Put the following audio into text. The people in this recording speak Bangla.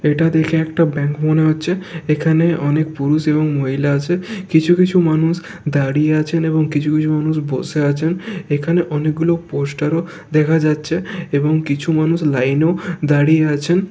এটা দেখে একটা ব্যাংক মনে হচ্ছে এখানে অনেক পুরুষ এবং মহিলা আছে। কিছু কিছু মানুষ দাঁড়িয়ে আছেন এবং কিছু কিছু মানুষ বসে আছেন। এখানে অনেকগুলো পোষ্টার -ও দেখা যাচ্ছে এবং কিছু মানুষ লাইনেও দাঁড়িয়ে আছেন।